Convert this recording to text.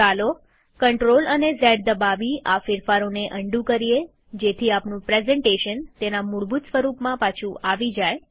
ચાલો CTRL અને Z દબાવી આ ફેરફારોને અન્ડું કરીએજેથી આપણું પ્રેઝન્ટેશન તેના મૂળભૂત સ્વરૂપમાં પાછુ આવી જાય